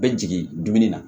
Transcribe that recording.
Bɛ jigin dumuni na